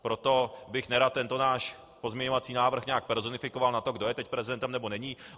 Proto bych nerad tento náš pozměňovací návrh nějak personifikoval na tom, kdo je teď prezidentem nebo není.